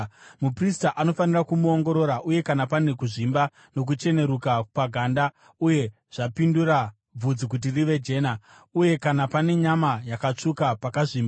Muprista anofanira kumuongorora, uye kana pane kuzvimba nokucheneruka paganda, uye zvapindura bvudzi kuti rive jena, uye kana pane nyama yakatsvuka, pakazvimba,